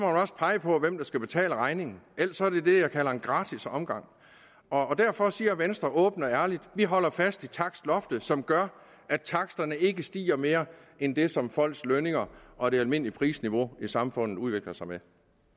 også pege på hvem der skal betale regningen ellers er det det jeg kalder en gratis omgang derfor siger venstre åbent og ærligt vi holder fast i takstloftet som gør at taksterne ikke stiger mere end det som folks lønninger og det almindelige prisniveau i samfundet udvikler sig med